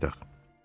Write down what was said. Gəl qayıdaq.